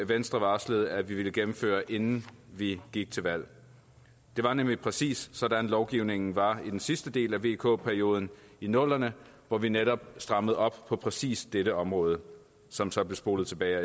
venstre varslede at ville gennemføre inden vi gik til valg det var nemlig præcis sådan lovgivningen var i den sidste del af vk perioden i nullerne hvor vi netop strammede op på præcis dette område som så blev spolet tilbage af